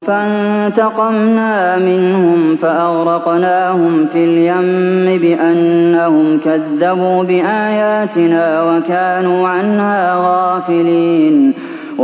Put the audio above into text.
فَانتَقَمْنَا مِنْهُمْ فَأَغْرَقْنَاهُمْ فِي الْيَمِّ بِأَنَّهُمْ كَذَّبُوا بِآيَاتِنَا وَكَانُوا عَنْهَا غَافِلِينَ